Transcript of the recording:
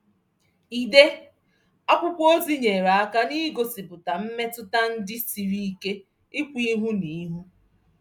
Ide akwụkwọ ozi nyeere aka n'igosipụta mmetụta ndị siri ike ikwu ihu n'ihu.